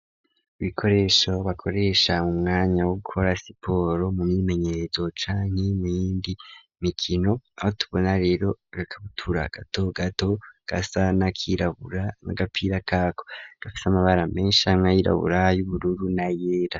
Ibikoresho bakoresha mu mwanya wo gukora siporo mu myimenyezo canke muyindi mikino aho tubona rero agakabutura gato gato gasa na kirabura n'agapira kako gafise amabara menshi amwe y'irabura, ayubururu na yera.